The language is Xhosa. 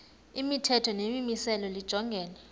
imithetho nemimiselo lijongene